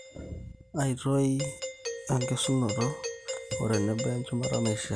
aitoyi oenkesunoto otenebo enchumata naishiaa